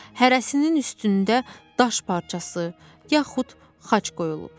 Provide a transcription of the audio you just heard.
Hərəsinin üstündə daş parçası, yaxud xaç qoyulub.